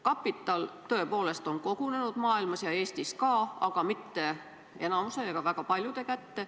Kapital on tõepoolest kogunenud kogu maailmas ja ka Eestis mitte enamuse, mitte väga paljude kätte.